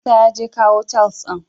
Musa yaje ya kawu tiles ɗin.